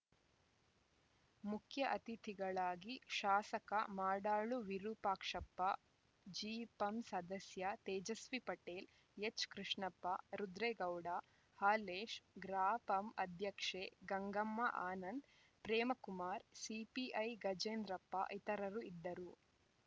ಮುಖ್ಯ ಅತಿಥಿಗಳಾಗಿ ಶಾಸಕ ಮಾಡಾಳು ವಿರೂಪಾಕ್ಷಪ್ಪ ಜಿಪಂ ಸದಸ್ಯ ತೇಜಸ್ವಿ ಪಟೇಲ್‌ ಎಚ್‌ಕೃಷ್ಣಪ್ಪ ರುದ್ರೇಗೌಡ ಹಾಲೇಶ್‌ ಗ್ರಾಪಂ ಅಧ್ಯಕ್ಷೆ ಗಂಗಮ್ಮಆನಂದ್‌ ಪ್ರೇಮ ಕುಮಾರ್‌ ಸಿಪಿಐ ಗಜೇಂದ್ರಪ್ಪ ಇತರರು ಇದ್ದರು